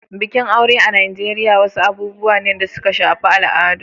Bikin aure a Najeriya wasu abubuwa ne da suka shafi al'adu.